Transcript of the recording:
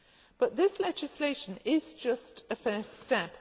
But this legislation is just a first step.